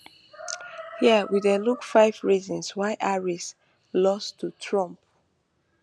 hia we dey look five reasons why harris lose to trump